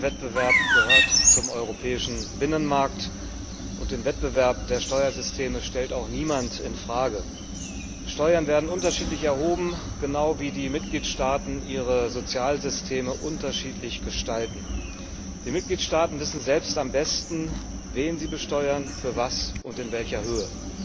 Steuerwettbewerb gehört zum europäischen Binnenmarkt, und den Wettbewerb der Steuersysteme stellt auch niemand in Frage. Steuern werden unterschiedlich erhoben, genau wie die Mitgliedstaaten ihre Sozialsysteme unterschiedlich gestalten. Die Mitgliedstaaten wissen selbst am besten, wen sie besteuern, wofür und in welcher Höhe.